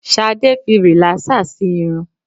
Ṣadé fi rìlásèr sì irun.